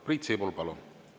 Priit Sibul, palun!